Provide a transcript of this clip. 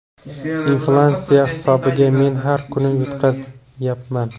Inflyatsiya hisobiga men har kuni yutqazyapman.